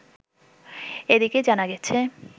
এদিকে জানা গেছে